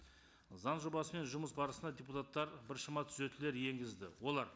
заң жобасымен жұмыс барысында депутаттар біршама түзетулер енгізді олар